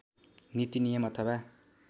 नीति नियम अथवा